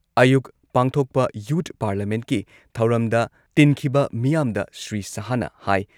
ꯑꯌꯨꯛ ꯄꯥꯡꯊꯣꯛꯄ ꯌꯨꯊ ꯄꯥꯔꯂꯤꯌꯥꯃꯦꯟꯠꯀꯤ ꯊꯧꯔꯝꯗ ꯇꯤꯟꯈꯤꯕ ꯃꯤꯌꯥꯝꯗ ꯁ꯭ꯔꯤ ꯁꯍꯥꯍꯅ ꯍꯥꯏ